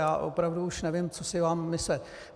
Já opravdu už nevím, co si mám myslet.